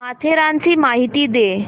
माथेरानची माहिती दे